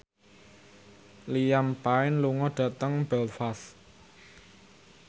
Liam Payne lunga dhateng Belfast